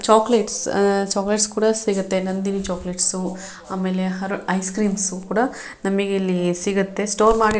chocolates ah chocolates ಕೂಡ ಸಿಗುತ್ತೆ Nandini chocolates ಆಮೇಲೆ ಹರ ಐಸ್ ಕ್ರೀಮ್ಸ್ ಕೂಡ ನಮಗೆ ಇಲ್ಲಿ ಸಿಗುತ್ತೆ ಸ್ಟೋರ್ ಮಾಡಿ ಇಟ್ --